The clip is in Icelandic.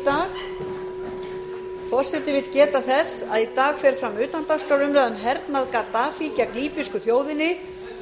atkvæðagreiðslur verða um klukkan ellefu í dag forseti vill geta þess að í dag fer fram utandagskrárumræða um hernað gaddafís gegn líbísku þjóðinni